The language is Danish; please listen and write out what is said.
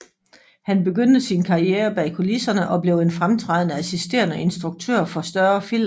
Han begyndte sin karriere bag kulisserne og blev en fremtrædende assisterende instruktør for større film